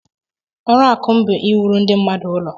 Ọrụaka m bụ iwuru ndị mmadụ ụlọ